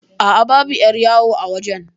Aa, babu 'yar yawo a wajan